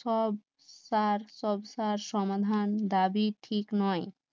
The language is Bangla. সব তার সবসার সমাধান, দাবি ঠিক নয়